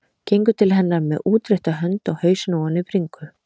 Gengur til hennar með útrétta hönd og hausinn ofan í bringu.